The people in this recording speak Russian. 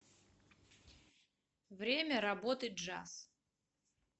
время работы джаз